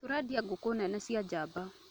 Tũrendia ngũkũnene cia njamba